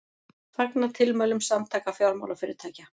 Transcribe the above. Fagna tilmælum Samtaka fjármálafyrirtækja